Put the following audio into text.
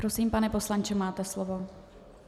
Prosím, pane poslanče, máte slovo.